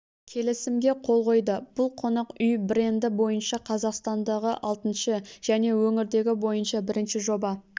келісімге қол қойды бұл қонақ үй бренді бойынша қазақстандағы алтыншы және өңірдегі бойынша бірінші жоба